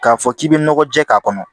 K'a fɔ k'i bɛ nɔgɔ jɛ k'a kɔnɔ